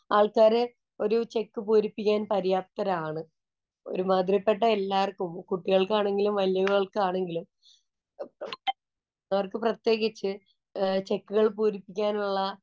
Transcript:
ആള്‍ക്കാര് ഒരു ചെക്ക് പൂരിപ്പിക്കാന്‍ പര്യാപ്തരാണ്. ഒരു മാതിരിപ്പെട്ട എല്ലാര്‍ക്കും കുട്ടികള്‍ക്കാണെങ്കിലും, വലിയവര്‍ക്കാണെങ്കിലും അവര്‍ക്ക് പ്രത്യേകിച്ച് ചെക്കുകള്‍ പൂരിപ്പിക്കാനുള്ള